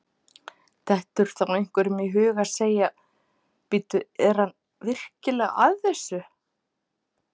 Dettur þá einhverjum í hug að segja: Bíddu, er hann virkilega að þessu?